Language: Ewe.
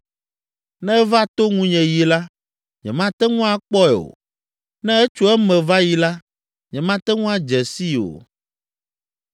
Ne eva to ŋunye yi la, nyemate ŋu akpɔe o, ne etso eme va yi la, nyemate ŋu adze sii o.